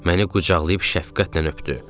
Məni qucaqlayıb şəfqətlə öpdü.